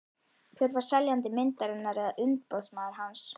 Hver var seljandi myndarinnar eða umboðsmaður hans?